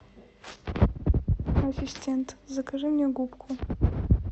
ассистент закажи мне губку